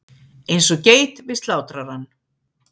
Eins og geit við slátrarann.